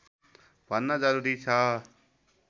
भन्न जरुरी छ